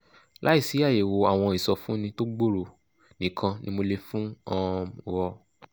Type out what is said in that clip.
láìsí àyẹ̀wò àwọn ìsọfúnni tó gbòòrò nìkan ni mo lè fún um ọ